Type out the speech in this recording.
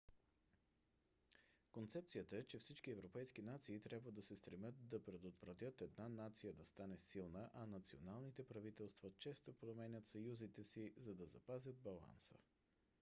концепцията е че всички европейски нации трябва да се стремят да предотвратят една нация да стане силна а националните правителства често променят съюзите си за да запазят баланса